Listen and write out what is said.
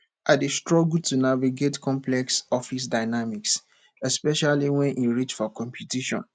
i dey struggle to navigate complex office dynamics especially wen e reach for competition